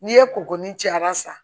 N'i ye kuruni ci a b'a san